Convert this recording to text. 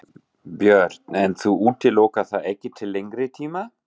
Björn: En þú útilokar það ekki til lengri tíma?